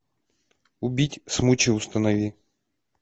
убить смучи установи